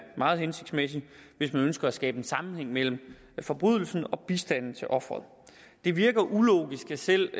meget hensigtsmæssig hvis man ønsker at skabe en sammenhæng mellem forbrydelsen og bistanden til offeret det virker ulogisk at selv